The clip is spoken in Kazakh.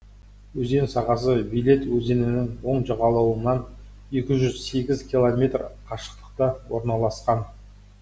өзен сағасы виледь өзенінің оң жағалауынан екі жүз сегіз километр қашықтықта орналасқан